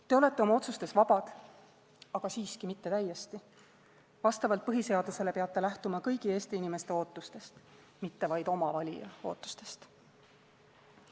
Te olete oma otsustes vabad, aga siiski mitte täiesti – vastavalt põhiseadusele peate lähtuma kõigi Eesti inimeste ootustest, mitte vaid oma valija ootusest.